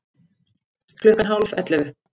Klukkan hálf ellefu